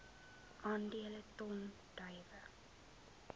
aandele ton druiwe